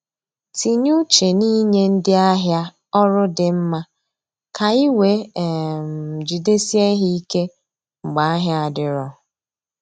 Tinye uche n’inye ndị ahịa ọrụ di mma ka ị wee um jidesie ha ike mgbe ahịa adiro